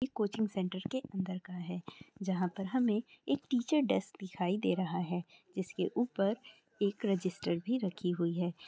यह coaching centre के अंदर का है जहां पर हमें एक टीचर डेस्क दिखाई दे रहा है जिसके ऊपर एक रजिस्टर भी रखी हुई है।